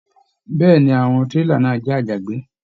Bẹ̀ẹ́ni, àwọn tírélà náà jẹ àjàgbé.